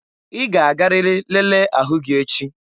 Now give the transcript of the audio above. Ị ga-agarịrị lelee ahụ gị echi!